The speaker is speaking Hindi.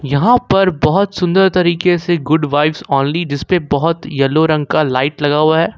यहां पर बहोत सुंदर तरीके से गुड वाइब्स ओनली जिसपे बहोत येलो रंग का लाइट लगा हुआ है।